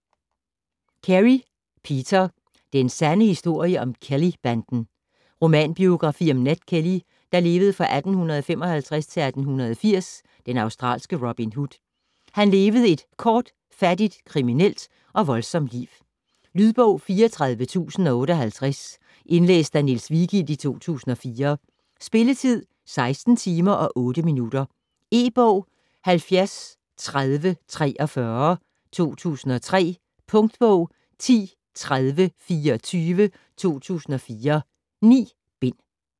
Carey, Peter: Den sande historie om Kelly-banden Romanbiografi om Ned Kelly (1855-1880), den australske Robin Hood. Han levede et kort, fattigt, kriminelt og voldsomt liv. Lydbog 34058 Indlæst af Niels Vigild, 2004. Spilletid: 16 timer, 8 minutter. E-bog 703043 2003. Punktbog 103024 2004. 9 bind.